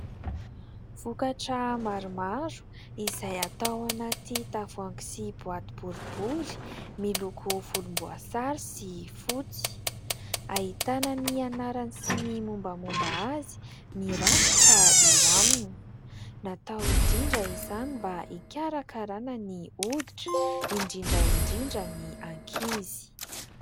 Vokatra maromaro izay atao anaty tavoahangy sy boaty boribory miloko volomboasary sy fotsy. Ahitana ny anarany sy ny mombamomba azy mirakitra eo aminy. Natao indrindra izany mba hikarakarana ny hoditra indrindra indrindra ny ankizy.